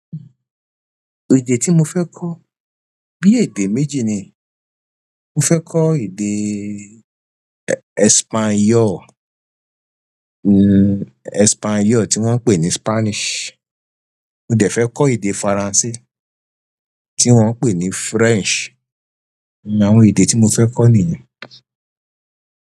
Èdè tí mo fẹ́ kọ bí èdè méjì ni. Mo fẹ́ kọ èdè Espanyol, Espanyol tí wọ́n ń pè ní Spanish. Mo dẹ̀ fẹ́ kọ èdè Faransé tí wọ́n ń pè ní French. Àwọn èdè tí mo fẹ́ kọ nìyẹn.